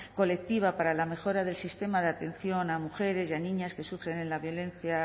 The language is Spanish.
colectiva para la mejora del sistema de atención a mujeres y a niñas que sufren la violencia